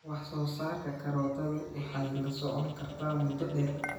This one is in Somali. Wax-soo-saarka karootadu waxay la socon kartaa muddo dheer.